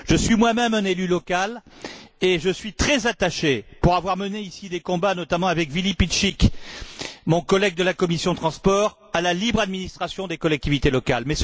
Je suis moi même un élu local et je suis très attaché pour avoir mené ici des combats notamment avec Willi Piecyk, mon collègue de la commission des transports à la libre administration des collectivités locales.